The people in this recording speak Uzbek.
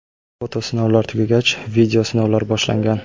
Foto sinovlar tugagach, video sinovlar boshlangan.